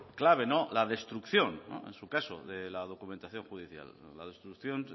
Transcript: clave la destrucción en su caso de la documentación judicial la destrucción